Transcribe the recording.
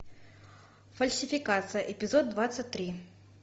фальсификация эпизод двадцать три